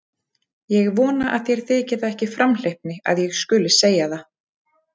Ég vona að þér þyki það ekki framhleypni að ég skuli segja það.